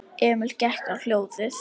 Emil gekk á hljóðið.